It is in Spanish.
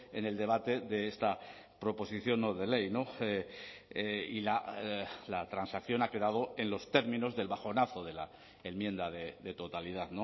en el debate de esta proposición no de ley y la transacción ha quedado en los términos del bajonazo de la enmienda de totalidad